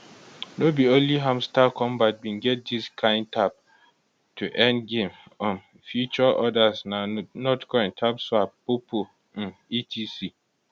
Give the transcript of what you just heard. no be only hamster kombat bin get dis kin tap to earn game um feature odas na notcoin tapswap poppo um etc